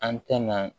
An tɛna